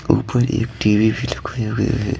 ऊपर एक टी_वी भी रखी हुई है।